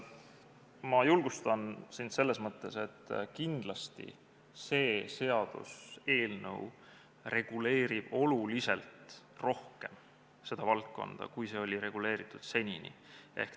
Ma julgustan sind selles mõttes, et kindlasti see seaduseelnõu reguleerib seda valdkonda oluliselt rohkem, kui see oli senini reguleeritud.